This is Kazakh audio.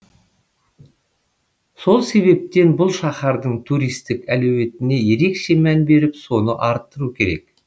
сол себептен бұл шаһардың туристік әлеуетіне ерекше мән беріп соны арттыру керек